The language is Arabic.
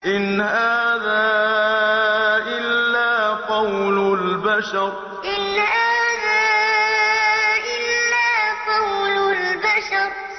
إِنْ هَٰذَا إِلَّا قَوْلُ الْبَشَرِ إِنْ هَٰذَا إِلَّا قَوْلُ الْبَشَرِ